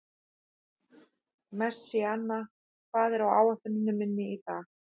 Messíana, hvað er á áætluninni minni í dag?